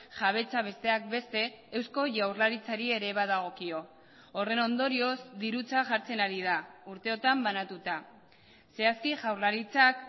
jabetza besteak beste eusko jaurlaritzari ere badagokio horren ondorioz dirutza jartzen ari da urteotan banatuta zehazki jaurlaritzak